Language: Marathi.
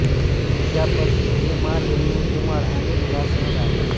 त्या पती एम आर रेणुकुमार आणि मुलासह राहतात